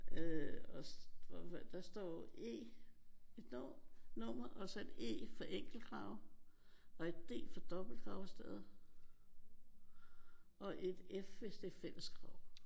Og der står e. Et nummer og så et e for enkeltgrav og et d for dobbeltgravsted. Og et f hvis det er fællesgrav